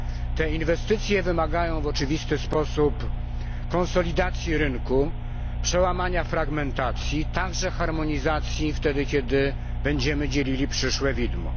Te inwestycje wymagają w oczywisty sposób konsolidacji rynku, przełamania fragmentacji, także harmonizacji wtedy, kiedy będziemy dzielili przyszłe widmo.